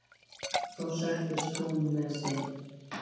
Þá settist hún með þeim.